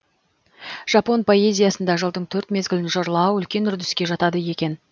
жапон поэзиясында жылдың төрт мезгілін жырлау үлкен үрдіске жатады екен